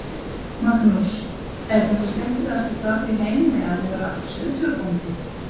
Magnús: Er þetta skemmtilegasta starf í heimi, að vera sauðfjárbóndi?